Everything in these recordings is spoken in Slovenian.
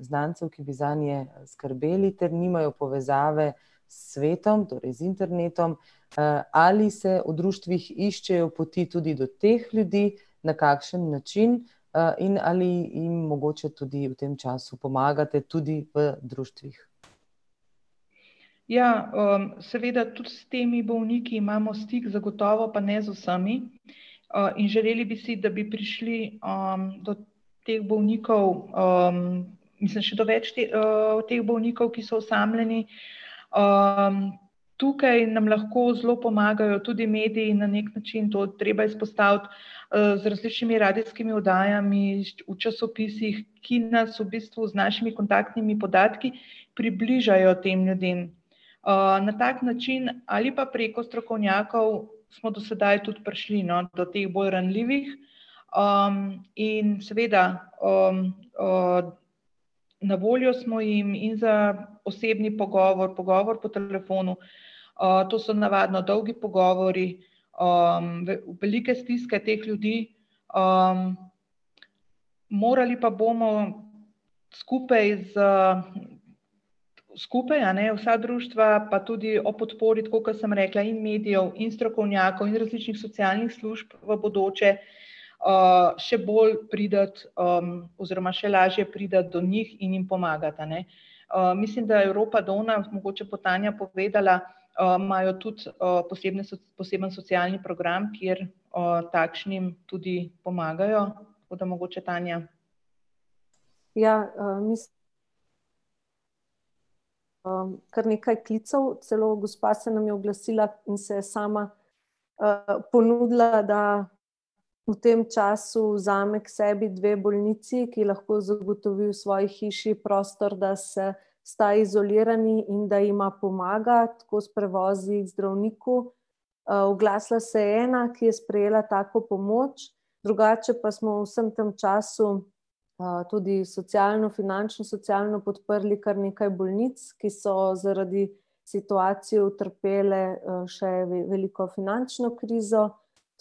znancev, ki bi zanje skrbeli ter nimajo povezave s svetom, torej z internetom. Ali se v društvih iščejo poti tudi do teh ljudi, na kakšen način in ali jim mogoče tudi v tem času pomagate tudi v društvih? Ja, seveda tudi s temi bolniki imamo stik, zagotovo pa ne z vsemi. In želeli bi si, da bi prišli do teh bolnikov mislim še do več teh bolnikov, ki so osamljeni. Tukaj nam lahko zelo pomagajo tudi mediji na neki način, to treba izpostaviti z različnimi radijskimi oddajami, v časopisih, ki nas v bistvu z našimi kontaktnimi podatki približajo tem ljudem. Na tak način ali pa preko strokovnjakov smo do sedaj tudi prišli, no, do teh bolj ranljivih, in seveda na voljo smo jim in za osebni pogovor, pogovor po telefonu, to so navadno dolgi pogovori velike stiske teh ljudi. Morali pa bomo skupaj z skupaj, a ne, vsa društva pa tudi ob podpori, tako kot sem rekla, in medijev in strokovnjakov in različnih socialnih služb v bodoče še bolj priti oziroma še lažje priti do njih in jim pomagati, a ne. Mislim, da Evropa Donna, mogoče bo Tanja povedala, imajo tudi posebne poseben socialni program, kjer takšnim tudi pomagajo, tako da mogoče Tanja. Ja, ... Kar nekaj klicev, celo gospa se nam je oglasila in se sama ponudila, da v tem času vzame k sebi dve bolnici, ki lahko zagotovi v svoji hiši prostor, da se sta izolirani in da ima pomaga, tako s prevozi k zdravniku. Oglasila se je ena, ki je sprejela tako pomoč, drugače pa smo v vsem tem času tudi socialno-finančno, socialno podprli kar nekaj bolnic, ki so zaradi situacije utrpele še veliko finančno krizo.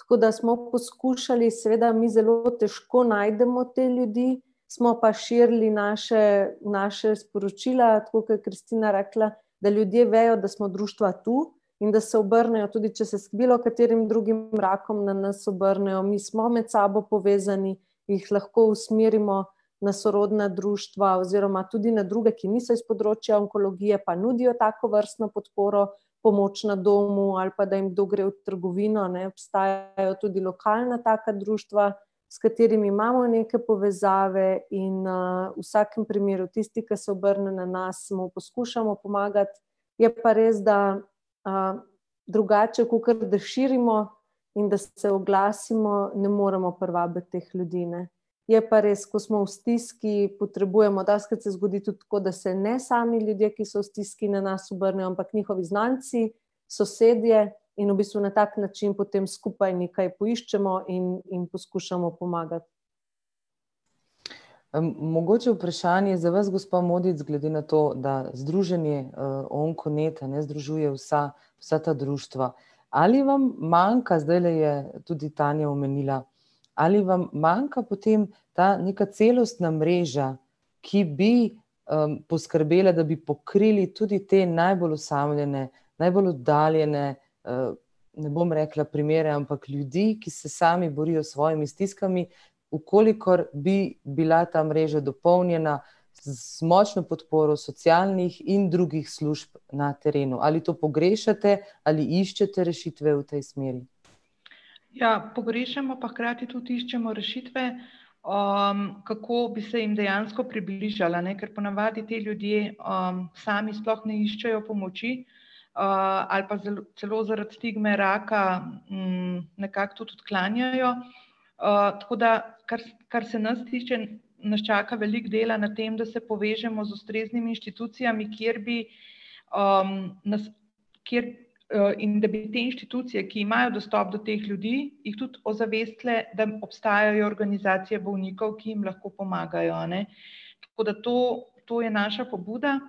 Tako da smo poskušali, seveda mi zelo težko najdemo te ljudi, smo pa širili naše, naše sporočila, tako kot je Kristina rekla, da ljudje vejo, da smo društva tu, in da se obrnejo, tudi če se z bilokaterim drugim rakom na nas obrnejo, mi smo med sabo povezani, jih lahko usmerimo na sorodna društva oziroma tudi na druge, ki niso iz področja onkologije pa nudijo takovrstno podporo, pomoč na domu ali pa da jim kdo gre trgovino, ne, obstajajo tudi lokalna taka društva, s katerimi imamo neke povezave in v vsakem primeru, tisti, ki se obrne na nas, mu poskušamo pomagati. Je pa res, da drugače, kakor da širimo in da se oglasimo, ne moremo privabiti teh ljudi, ne. Je pa res, ko smo v stiski, potrebujemo, dostikrat se zgodi tudi tako, da se ne sami ljudje, ki so v stiski na nas obrnejo, ampak njihovi znanci, sosedje in v bistvu na tak način potem skupaj nekaj poiščemo in in poskušamo pomagati. Mogoče vprašanje za vas, gospa Modic, glede na to, da Združenje Onkonet, a ne, združuje vsa vsa ta društva. Ali vam manjka, zdajle je tudi Tanja omenila, ali vam manjka potem ta neka celostna mreža, ki bi poskrbela, da bi pokrili tudi te najbolj osamljene, najbolj oddaljene ne bom rekla primere, ampak ljudi, ki se sami borijo s svojimi stiskami v kolikor bi bila ta mreža dopolnjena z močno podporo socialnih in drugih služb na terenu, ali to pogrešate, ali iščete rešitve v tej smeri? Ja, pogrešamo pa hkrati tudi iščemo rešitve, kako bi se jim dejansko približali, a ne, ker ponavadi ti ljudje sami sploh ne iščejo pomoči, ali pa celo zaradi stigme raka nekako tudi odklanjajo. Tako da kar kar se nas tiče, nas čaka veliko dela na tem, da se povežemo z ustreznimi inštitucijami, kjer bi nas, kjer, in da bi te inštitucije, ki imajo dostop do teh ljudi, jih tudi ozavestile, da obstajajo organizacije bolnikov, ki jim lahko pomagajo, a ne. Tako da to to je naša pobuda.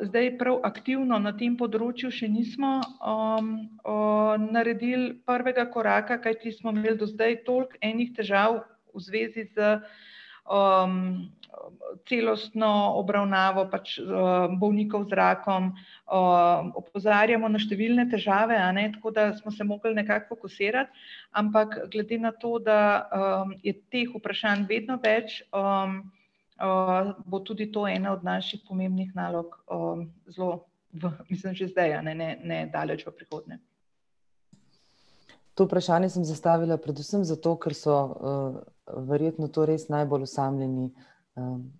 Zdaj prav aktivno na tem področju še nismo naredili prvega koraka, kajti smo imeli do zdaj toliko enih težav v zvezi s celostno obravnavo pač bolnikov z rakom. Opozarjamo na številne težave, a ne, tako da smo se mogli fokusirati, ampak glede na to, da je teh vprašanj vedno več bo tudi to ena od naših pomembnih nalog zelo v, mislim že zdaj, a ne, ne, ne daleč prihodnje. To vprašanje sem zastavila predvsem zato, ker so verjetno to res najbolj osamljeni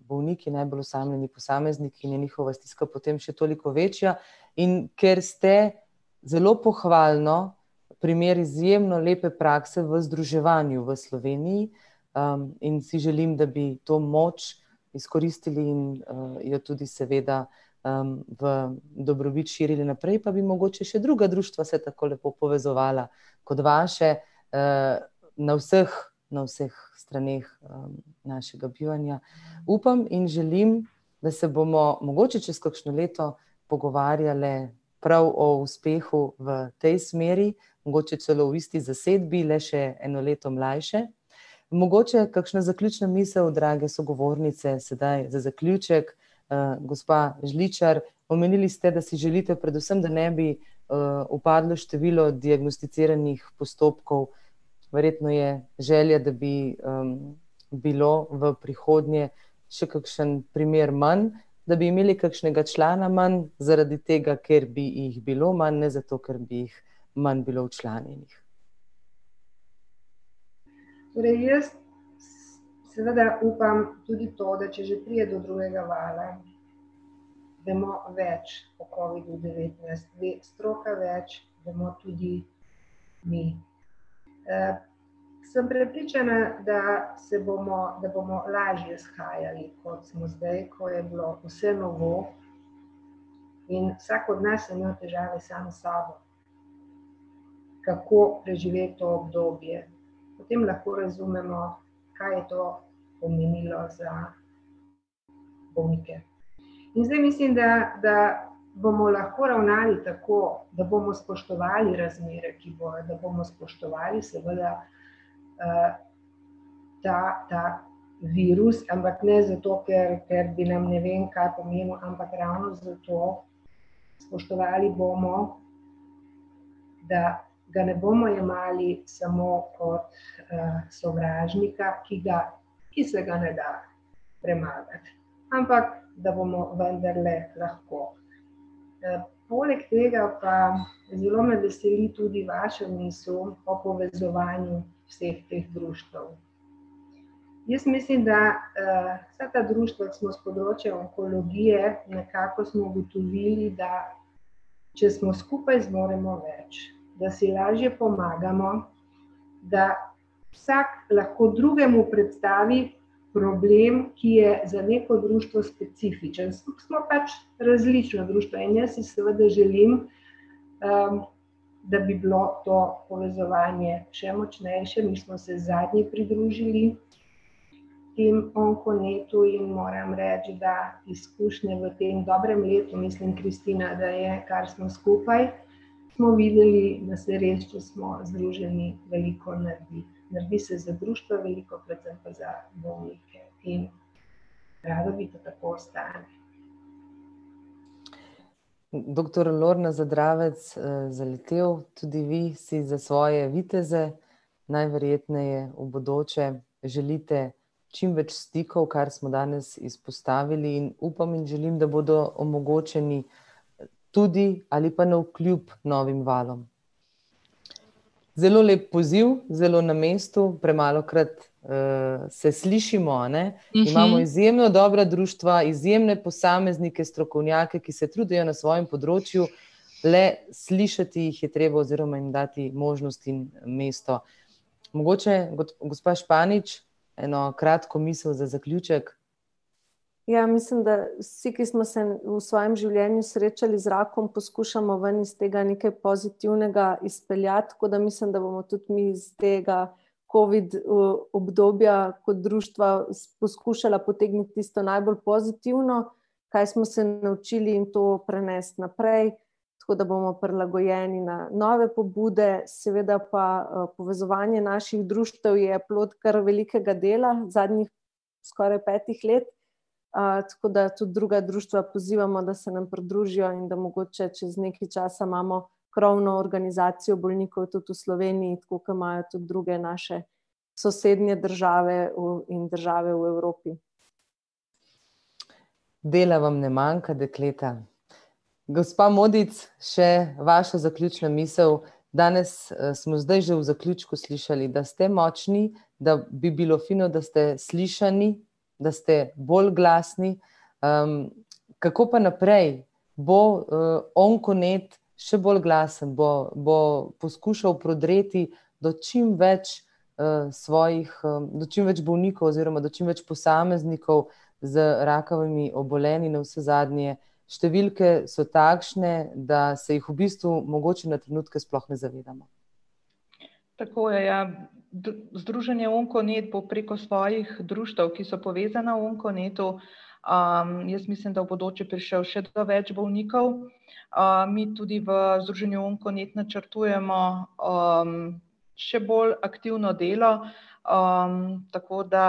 bolniki, najbolj osamljeni posamezniki in je njihova stiska potem še toliko večja. In ker ste, zelo pohvalno, primer izjemno lepe prakse v združevanju v Sloveniji in si želim, da bi to moč izkoristili in jo tudi seveda v dobrobit širili naprej, pa bi mogoče še druga društva se tako lepo povezovala kot vaše na vseh, na vseh straneh našega bivanja. Upam in želim, da se bomo, mogoče čez kakšno leto, pogovarjale prav o uspehu v tej smeri, mogoče celo v isti zasedbi, le še eno leto mlajše. Mogoče kakšna zaključna misel, drage sogovornice, sedaj za zaključek? Gospa Žličar, omenili ste, da si želite predvsem, da ne bi upadlo število diagnosticiranih postopkov, verjetno je želja, da bi bilo v prihodnje še kakšen primer manj, da bi imeli kakšnega člana manj, zaradi tega, ker bi jih bilo manj, ne zato, ker bi jih manj bilo včlanjenih. Torej jaz seveda upam, tudi to, da če že pride do drugega vala, vemo več o covidu devetnajst, ve stroka več, vemo tudi mi. Sem prepričana, da se bomo, da bomo lažje shajali, kot smo zdaj, ko je bilo vse novo in vsak od nas je imel težave sam s sabo, kako preživeti to obdobje. Potem lahko razumemo, kaj je to pomenilo za bolnike. In zdaj mislim, da da bomo lahko ravnali tako, da bomo spoštovali razmere, ki bojo, da bomo spoštovali seveda ta ta virus, ampak ne zato, ker ker bi nam ne vem kaj pomenil, ampak ravno zato spoštovali bomo, da ga ne bomo jemali samo kot sovražnika, ki ga, ki se ga ne da premagati. Ampak da bomo vendarle lahko. Poleg tega pa zelo me veseli tudi vaša misel o povezovanju vseh teh društev. Jaz mislim, da vsa ta društva, ko smo s področja onkologije, nekako smo ugotovili, da če smo skupaj, zmoremo več, da si lažje pomagamo, da vsak lahko drugemu predstavi problem, ki je za neko društvo specifičen, smo pač različna društva in jaz si seveda želim, da bi bilo to povezovanje še močnejše, mi smo se zadnji pridružili temu Onkonetu in moram reči, da izkušnje v tem dobrem letu, mislim, Kristina, da je, kar smo skupaj, smo videli, da se res, če smo združeni, veliko naredi. Naredi se za društva veliko, predvsem pa za bolnike, in rada bi, da tako ostane. Doktor [ime in priimek] , tudi vi si za svoje viteze najverjetneje v bodoče želite čim več stikov, kar smo danes izpostavili, in upam in želim, da bodo omogočeni, tudi ali pa navkljub novim valom. Zelo lep poziv, zelo na mestu, premalokrat se slišimo, a ne. Imamo izjemno dobra društva, izjemne posameznike, strokovnjake, ki se trudijo na svojem področju, le slišati jih je treba oziroma jim dati možnost in mesto. Mogoče, gospa Španič, eno kratko misel za zaključek? Ja, mislim, da vsi, ki smo se v svojem življenju srečali z rakom, poskušamo ven iz tega nekaj pozitivnega izpeljati, tako da mislim, da bomo tudi mi iz tega covid obdobja kot društva poskušala potegniti tisto najbolj pozitivno, kaj smo se naučili, in to prenesti naprej, tako da bomo prilagojeni na nove pobude, seveda pa povezovanje naših društev je plod kar velikega dela zadnjih skoraj petih let. Tako da tudi druga društva pozivamo, da se nam pridružijo in da mogoče čez nekaj časa imamo krovno organizacijo bolnikov tudi v Sloveniji, tako kot imajo tudi druge naše sosednje države in države v Evropi. Dela vam ne manjka, dekleta. Gospa Modic, še vašo zaključno misel. Danes smo zdaj že v zaključku slišali, da ste močni, da bi bilo fino, da ste slišani, da ste bolj glasni. Kako pa naprej? Bo Onkonet, še bolj glasen bo, bo poskušal prodreti do čim več svojih, do čim več bolnikov oziroma do čim več posameznikov z rakavimi obolenji, navsezadnje številke so takšne, da se jih v bistvu mogoče na trenutke sploh ne zavedamo. Tako je, ja. združenje Onkonet bo preko svojih društev, ki so povezana v Onkonetu, jaz mislim, da v bodoče prišel še do več bolnikov, in tudi v združenju Onkonet načrtujemo še bolj aktivno delo, tako da.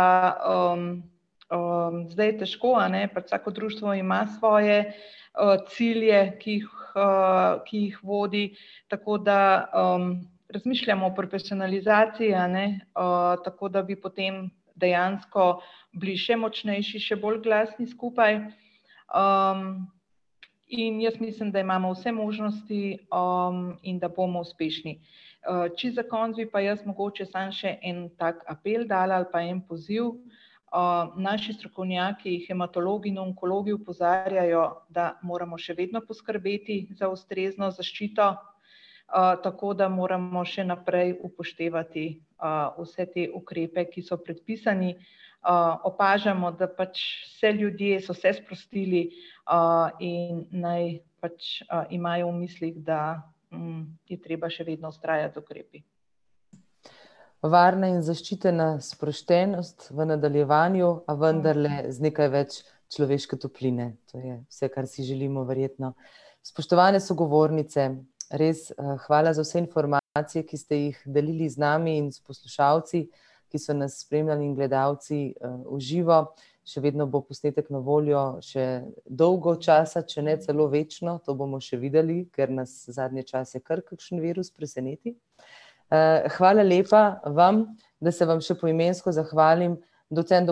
Zdaj je težko, a ne, pač vsako društvo ima svoje cilje, ki jih ki jih vodi. Tako da razmišljamo o popersonalizaciji, a ne, tako da bi potem dejansko bili še močnejši, še bolj glasni skupaj. In jaz mislim, da imamo vse možnosti in da bomo uspešni. Čisto za konec bi pa jaz mogoče samo še en tak apel dala ali pa en poziv. Naši strokovnjaki, hematologi in onkologi, opozarjajo, da moramo še vedno poskrbeti za ustrezno zaščito, tako da moramo še naprej upoštevati vse te ukrepe, ki so predpisani. Opažamo, da pač se ljudje so se sprostili in naj pač imajo v mislih, da je treba še vedno treba vztrajati z ukrepi. Varna in zaščitena sproščenost v nadaljevanju vendarle z nekaj več človeške topline, to je vse, kar si želimo, verjetno. Spoštovane sogovornice, res hvala za vse informacije, ki ste jih delili z nami in s poslušalci, ki so nas spremljali in gledalci v živo. Še vedno bo posnetek na voljo še dolgo časa, če ne celo večno, to bomo še videli, ker nas zadnje čase kar kakšen virus preseneti. Hvala lepa vam, da se vam še poimensko zahvalim: docent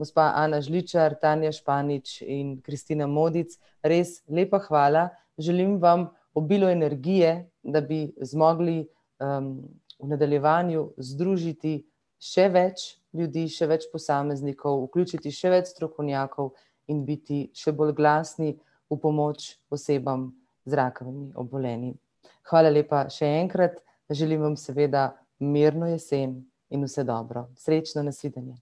doktor [ime in priimek] , gospa [ime in priimek] , [ime in priimek] in [ime in priimek] . Res lepa hvala, želim vam obilo energije, da bi zmogli v nadaljevanju združiti še več ljudi, še več posameznikov, vključiti še več strokovnjakov in biti še bolj glasni v pomoč osebam z rakavimi obolenji. Hvala lepa še enkrat, želim vam seveda mirno jesen in vse dobro. Srečno, nasvidenje.